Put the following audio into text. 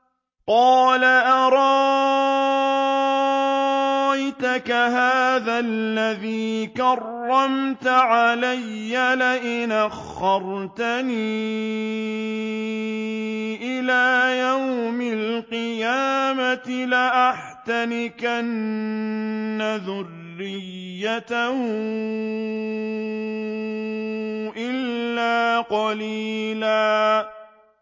قَالَ أَرَأَيْتَكَ هَٰذَا الَّذِي كَرَّمْتَ عَلَيَّ لَئِنْ أَخَّرْتَنِ إِلَىٰ يَوْمِ الْقِيَامَةِ لَأَحْتَنِكَنَّ ذُرِّيَّتَهُ إِلَّا قَلِيلًا